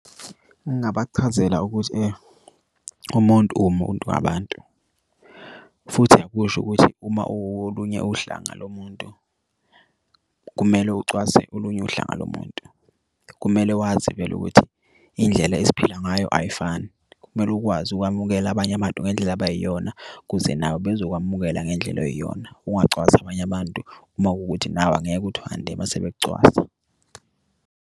Ungabachazela ukuthi umuntu umuntu abantu futhi akusho ukuthi uma uwolunye uhlanga lomuntu kumele ucwase olunye uhlanga lomuntu. Kumele wazi vele ukuthi iy'ndlela esiphila ngayo ayifani. Kumele ukwazi ukwamukela abanye abantu ngendlela abayiyona ukuze nawe bezokwamukela ngendlela oyiyona. Ungacwasi abanye abantu uma kuwukuthi nawe angeke uthande uma sebekucwasa.